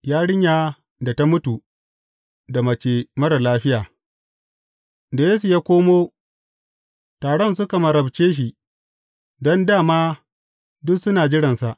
Yarinya da ta mutu da mace marar lafiya Da Yesu ya koma, taron suka marabce shi, don dā ma duk suna jiransa.